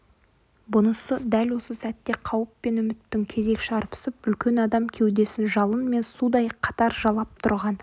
бұнысы дәл осы сәтте қауіп пен үміттің кезек шарпысып үлкен адам кеудесін жалын мен судай қатар жалап тұрған